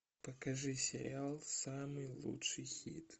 покажи сериал самый лучший хит